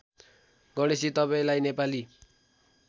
गणेशजी तपाईँंलाई नेपाली